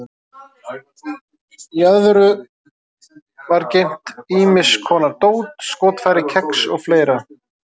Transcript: Í öðru var geymt ýmis konar dót, skotfæri, kex og fleira.